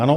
Ano?